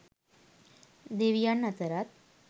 දෙවියන් අතරත්